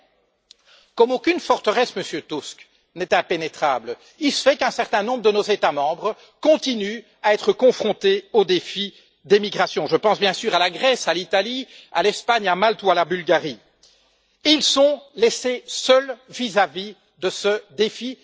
Mais, comme aucune forteresse, Monsieur Tusk, n'est impénétrable, il se fait qu'un certain nombre de nos États membres continuent à être confrontés au défi des migrations je pense bien sûr à la Grèce, à l'Italie, à l'Espagne, à Malte ou à la Bulgarie et ils sont laissés seuls vis à vis de ce défi.